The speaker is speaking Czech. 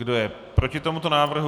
Kdo je proti tomuto návrhu?